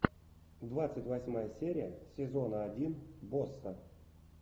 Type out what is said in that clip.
двадцать восьмая серия сезона один босса